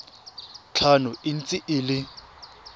tlhano e ntse e le